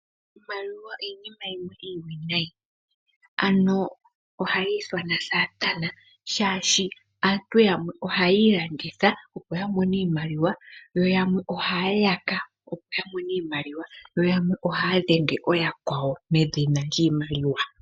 Iimaliwa iinima yimwe iiwiinayi ano ohayi ithanwa Satana, shaashi aantu yamwe ohayi ilanditha opo ya mone iimaliwa, yo yamwe ohaya yaka opo ya mone iimaliwa, yo yamwe ohaya dhenge ooyakwawo medhina lyiimaliwa.